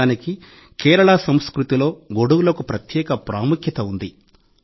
నిజానికి కేరళ సంస్కృతిలో గొడుగులకు ప్రత్యేక ప్రాముఖ్యత ఉంది